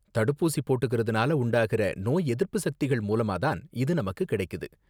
தடுப்பூசி போட்டுக்கறதுனால உண்டாகிற நோய் எதிர்ப்பு சக்திகள் மூலமா தான் இது நமக்கு கிடைக்குது.